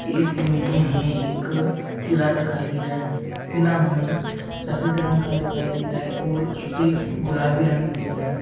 इस इमेज में हमें एक किला दिखाई दे रहा है किला हमें सफ़ेद रंग का दिखाई दे रहा है और उसपे गुलाबी रंग भी दिख रहा है।